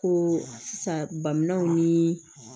Ko sisan bamanaw ni